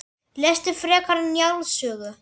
Lestu frekar Njáls sögu